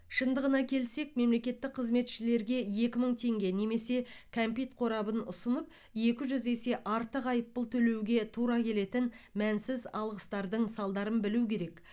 шындығына келсек мемлекеттік қызметшілерге екі мың теңге немесе кәмпит қорабын ұсынып екі жүз есе артық айыппұл төлеуге тура келетін мәнсіз алғыстардың салдарын білу керек